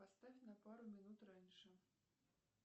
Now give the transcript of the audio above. поставь на пару минут раньше